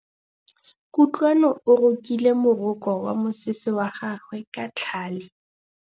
Kutlwanô o rokile morokô wa mosese wa gagwe ka tlhale.